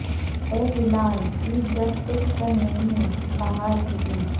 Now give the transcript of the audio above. اے ہلال عید جب خوش کن نہیں باہر کی عید